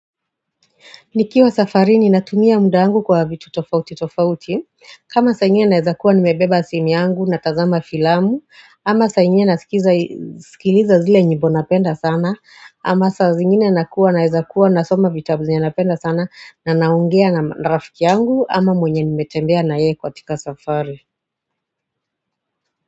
Nikiwa safari ni natumia muda angu kwa vitu tofauti tofauti kama saa ingine naeza kuwa nimebeba simu yangu na tazama filamu ama saa ingine na sikiliza zile nyimbo napenda sana ama saa zingine na kuwa naeza kuwa na soma vitabu zenye napenda sana na naongea na rafiki yangu ama mwenye nimetembea na yeye ka tika safari.